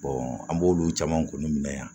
an b'olu caman kun minɛ yan